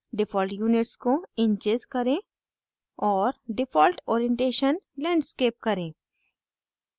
default units को inches करें और default orientation landscape करें